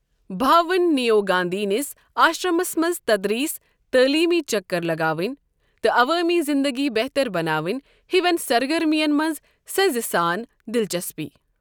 بھاون نیوٚو گاندھی نِس آشرمس منٛز تدریس، تعٲلیمی چکر لگاوٕنۍ تہٕ عوٲمی زندگی بہتر بناوِنۍ ہِوٮ۪ن سرگرمی یَن منٛز سنرِ سان دِلچسپی۔